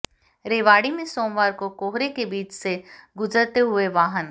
रेवाड़ी में सोमवार को कोहरे के बीच से गुजरते हुए वाहन